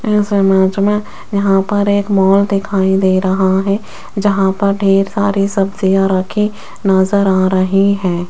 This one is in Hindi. यहां पर एक माल दिखाई दे रहा है जहां पर ढेर सारी सब्जियां नजर आ रही हैं।